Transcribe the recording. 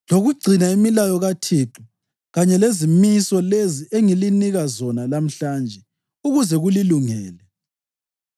lokugcina imilayo kaThixo kanye lezimiso lezi engilinika zona lamhlanje ukuze kulilungele?